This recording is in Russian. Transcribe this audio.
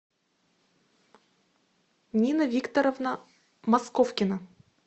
нина викторовна московкина